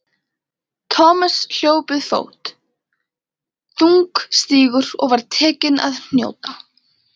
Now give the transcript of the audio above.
Thomas hljóp við fót, þungstígur og var tekinn að hnjóta.